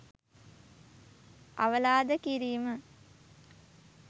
අවලාද කිරීම